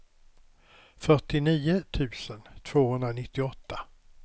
fyrtionio tusen tvåhundranittioåtta